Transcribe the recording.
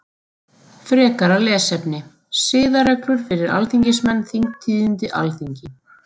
Frekara lesefni: Siðareglur fyrir alþingismenn Þingtíðindi Alþingi.